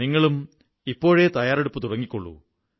നിങ്ങളും ഇപ്പോഴേ തയ്യാറെടുപ്പു തുടങ്ങിക്കോളൂ